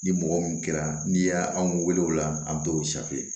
Ni mɔgɔ min kɛra n'i y'a anw wele o la an bɛ dɔw